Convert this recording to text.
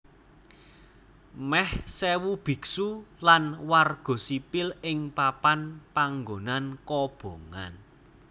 Meh sèwu biksu lan warga sipil ing papan panggonan kobongan